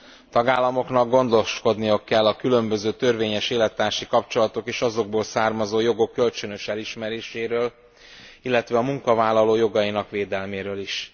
A tagállamoknak gondoskodniuk kell a különböző törvényes élettársi kapcsolatok és azokból származó jogok kölcsönös elismeréséről, illetve a munkavállaló jogainak védelméről is.